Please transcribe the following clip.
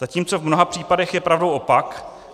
Zatímco v mnoha případech je pravdou opak.